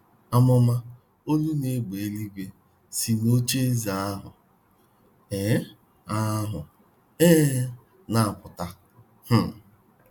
um Àmụ̀mà, olu na égbè eluigwe si n’ocheeze ahụ um ahụ um na - apụta... um